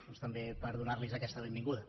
doncs també per donarlos aquesta benvinguda